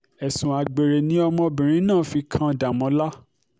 ẹ̀sùn àgbèrè ni ọmọbìnrin náà fi kan dàmọ́là